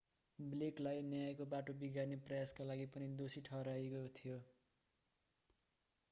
blake लाई न्यायको बाटो बिगार्ने प्रयासका लागि पनि दोषी ठहराइएको थियो